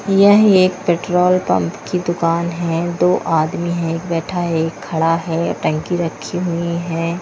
यह एक petrol pump की दुकान है दो आदमी हैं एक बैठा है एक खड़ा है टैंकी रखी हुई है।